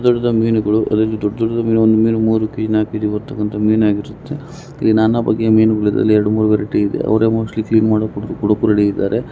ದೊಡ್ಡದಾದ ಮೀನುಗಳು ಅದೇ ರೀತಿ ದೊಡ್ಡದೊಡ್ಡದಾದ ಮೀನು ಒಂದು ಮೀನು ಮುರು ಕೆ_ಜಿ ನಾಲ್ಕು ಕೆ_ಜಿ ಬರ್ತಕ್ಕಂತ ಮೀನಾಗಿರುತ್ತೇ. ಇಲ್ಲಿ ನಾನಾ ಬಗೆಯ ಮೀನುಗಳಿವಿ ಇದರಲ್ಲಿ ಎರಡು ಮೂರೂ ವೆರೈಟಿ ಇದೆ. ಅವರೇ ಮೋಸ್ಟ್ಲಿ ಕ್ಲೀನ್ ಮಾಡಿ ಕೊಡೋಕು ರೆಡಿ ಇದಾರೆ.